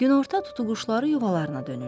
Günorta tutuquşuları yuvalarına dönürlər.